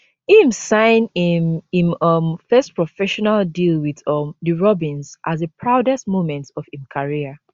im sign im im um first professional deal wit um di robins as di proudest moment of im career